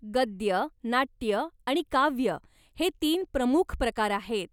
गद्य, नाट्य आणि काव्य हे तीन प्रमुख प्रकार आहेत.